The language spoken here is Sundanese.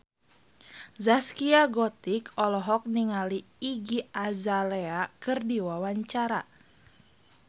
Zaskia Gotik olohok ningali Iggy Azalea keur diwawancara